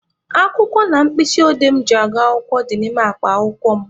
Akwụkwọ na mkpịsị odee mụ ji aga akwụkwọ dị n'ime akpa akwụkwọ mụ.